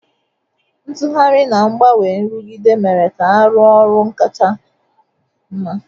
Ntughari na ngbanwe nrụgide mere ka arụ ọru nchekwa kacha mma.